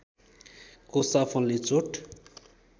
कोसा फल्ने चोट